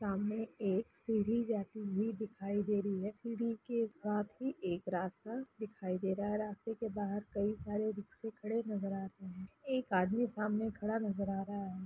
सामने एक सीढ़ी जाती हुई दिखाई दे रही हैं। सीढ़ी के साथ ही एक रास्ता दिखाई दे रहा हैं रास्ते के बाहर कई सारे रिक्शा खड़े नजर आ रहे हैं। एक आदमी सामने खड़ा नज़र आ रहा हैं।